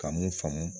Ka mun faamu